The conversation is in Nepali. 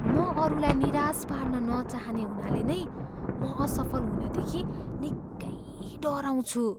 म अरूलाई निराश पार्न नचाहने हुनाले नै म असफल हुनदेखि निक्कै डराउँछु।